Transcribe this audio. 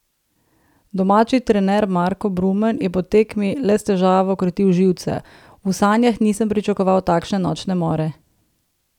Domači trener Marko Brumen je po tekmi le s težavo krotil živce: "V sanjah nisem pričakoval takšne nočne more.